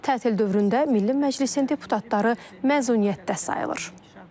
Tətil dövründə Milli Məclisin deputatları məzuniyyətdə sayılır.